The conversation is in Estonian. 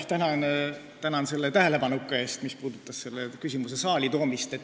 Kõigepealt tänan selle tähelepaneku eest, mis puudutas selle küsimuse saali toomist.